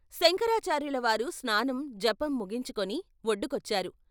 శంకరాచార్యుల వారు స్నానం జపం ముగించుకొని ఒడ్డుకొచ్చారు.